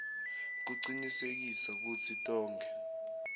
kucinisekisa kutsi tonkhe